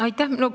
Aitäh!